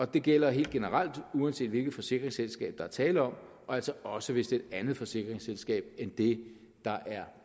det gælder helt generelt uanset hvilket forsikringsselskab der er tale om og altså også hvis det er et andet forsikringsselskab end det der er